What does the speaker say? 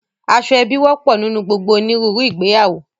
Aṣọ ẹbi wọ́pọ̀ nínú gbogbo òníruru ìgbéyàwó